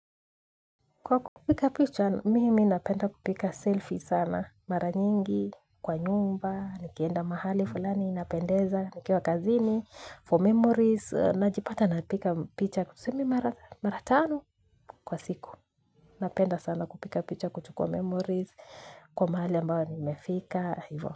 Kwa kupiga picha, mimi napenda kupiga selfie sana. Mara nyingi, kwa nyumba, nikienda mahali fulani, napendeza, nikiwa kazini, for memories. Najipata napiga picha kutusemi mara tanu kwa siku. Napenda sana kupiga picha kutukua memories kwa mahali ambao nimefika.